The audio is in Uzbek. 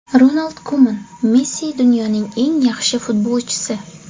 Ronald Kuman: Messi dunyoning eng yaxshi futbolchisi.